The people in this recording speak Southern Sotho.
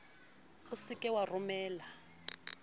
o se ke wa romella